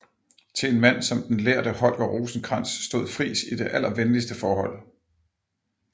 Til en mand som den lærde Holger Rosenkrantz stod Friis i det allervenligste forhold